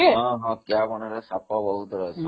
ହଁ ହଁ କିଆମୂଳରେ ସାପ ବହୁତ ରହନ୍ତି